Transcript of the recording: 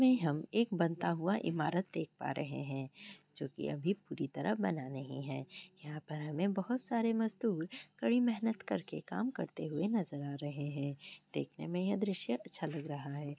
यहाँ पर हम एक बनता हुआ इमारत देख पा रहे हैं जो कि अभी पूरी तरह बना नहीं है। यहाँ पर हमे बहुत सारी मजदूर कड़ी मेहनत करके काम करते हुए नजर आ रहे हैं। देखने में यह दृश्य अच्छा लग रहा है।